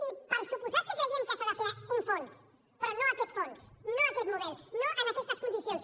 i per descomptat que creiem que s’ha de fer un fons però no aquest fons no aquest model no en aquestes condicions